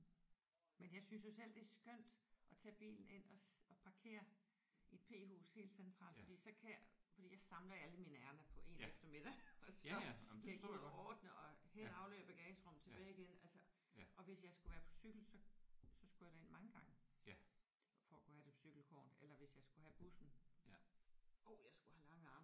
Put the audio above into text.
Men jeg synes jo selv det er skønt at tage bilen ind og parkere i et p-hus helt centralt. Fordi så kan jeg fordi jeg samler alle mine ærinder på én eftermiddag og så kan jeg gå og ordne og hen og aflevere i bagagerummet tilbage igen altså. Og hvis jeg skulle være på cykel så så skulle jeg derind mange gange for at kunne have det på cykelkurven. Eller hvis jeg skulle have bussen øj jeg skulle have lange arme